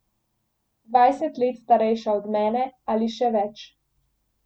Dvajset let starejša od mene ali še več.